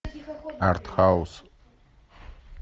арт хаус